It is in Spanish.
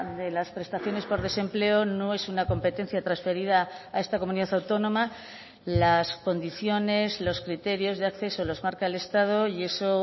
de las prestaciones por desempleo no es una competencia transferida a esta comunidad autónoma las condiciones los criterios de acceso los marca el estado y eso